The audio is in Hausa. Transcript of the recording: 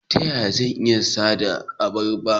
Ta yaya zan iya adana abarba?